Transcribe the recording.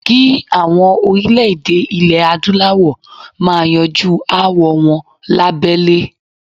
Kí àwọn orílè-èdè ilè Adúláwọ̀ máa yanjú aáwọl wọn lahbẹ́lé.